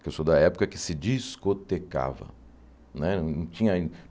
que eu sou da época que se discotecava. Né não tinha